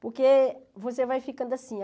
Porque você vai ficando assim.